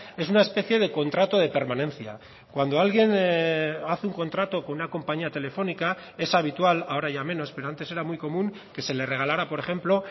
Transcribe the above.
es una especie de contrato de permanencia cuando alguien hace un contrato con una compañía telefónica es habitual ahora ya menos pero antes era muy común que se le regalara por ejemplo